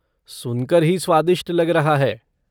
सुनकर ही स्वादिष्ट लग रहा है।